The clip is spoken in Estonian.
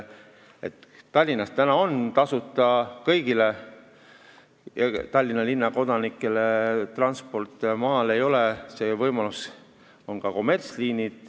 Tallinnas on kõigil Tallinna linna kodanikel tasuta transport, maal ei ole seda võimalust, seal on ka kommertsliinid.